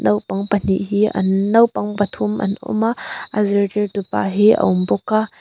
naupang pahnih hi an naupang pathum an awm a a zirtirtupa hi a awm bawk a.